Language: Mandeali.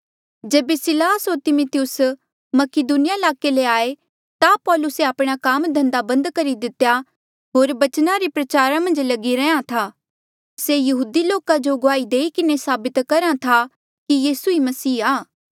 जेबे सिलास होर तिमिथियुस मकीदुनिया ईलाके ले आये ता पौलुसे आपणा काम धंधा बंद करी दितेया होर बचना रे प्रचारा मन्झ लगी रैंहयां था से यहूदी लोका जो गुआही देई किन्हें साबित करहा था कि यीसू ई मसीह आ